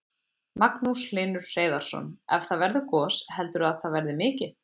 Magnús Hlynur Hreiðarsson: Ef það verður gos, heldurðu að það verði mikið?